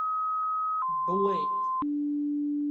блэйд